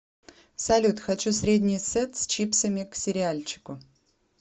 салют хочу средний сет с чипсами к сериальчику